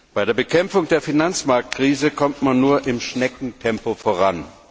Bei der Bekämpfung der Finanzmarktkrise kommt man nur im Schneckentempo voran.